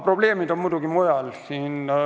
Probleemid on muidugi mujal.